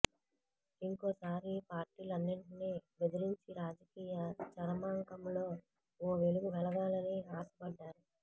ఇంకోసారి పార్టీలన్నింటినీ బెదిరించి రాజకీయ చరమాంకంలో ఓ వెలుగు వెలగాలని ఆశపడ్డారు